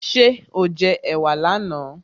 Ṣé o jẹ ẹ̀wà là na?